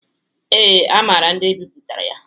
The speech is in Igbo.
Ee, a maara ndị bipụtara ya